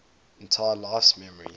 entire life's memories